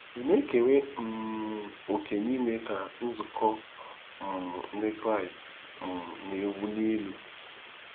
Ị̀ na-ekere òkè n'ime ka Nzukọ um Ndị Kraịst um na-ewuli elu?